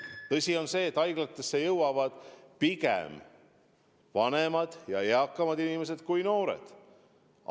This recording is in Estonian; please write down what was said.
Tõsi on küll see, et haiglatesse jõuavad pigem vanemad, eakamad inimesed kui noored.